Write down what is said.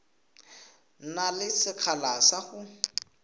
na le sekgala sa go